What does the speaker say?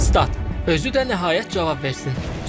Stat: Özü də nəhayət cavab versin.